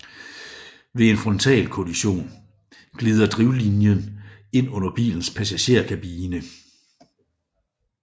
Ved en frontalkollision glider drivlinjen ind under bilens passagerkabine